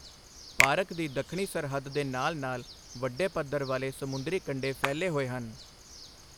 Park ਦੀ ਦੱਖਣੀ ਸਰਹੱਦ ਦੇ ਨਾਲ ਨਾਲ ਵੱਡੇ ਪੱਥਰ ਵਾਲੇ ਸਮੁੰਦਰੀ ਕੰਢੇ ਫੈਲੇ ਹੋਏ ਹਨ।